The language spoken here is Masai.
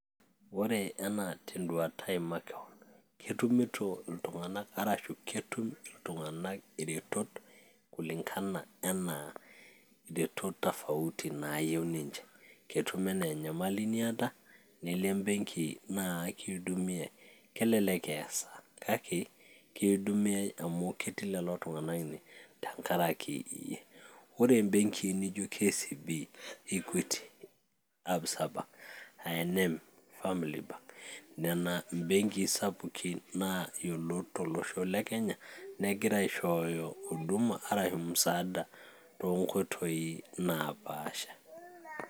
ore enaa tenduata ai makewon ketumito iltung'anak arashu ketum iltung'anak iretot kulingana enaa iretot tofauti naayieu ninche ketum enaa enyamali niata nilo embenki naa akiudumiay, kelelek eya esaa kake kiudumiay amu ketii lelo tung'anak ine tenkaraki iyie ore imbenkii nijo KCB,equity, absa bank,I&M,family bank nena imbenkii sapuki naa yiolot tolosho le kenya negira aishooyo huduma arashu musaada toonkoitoi naapasha.